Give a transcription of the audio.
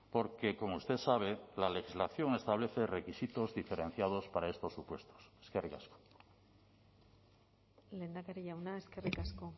porque como usted sabe la legislación establece requisitos diferenciados para estos supuestos eskerrik asko lehendakari jauna eskerrik asko